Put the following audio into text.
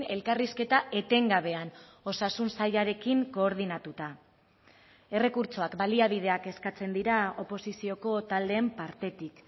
elkarrizketa etengabean osasun sailarekin koordinatuta errekurtsoak baliabideak eskatzen dira oposizioko taldeen partetik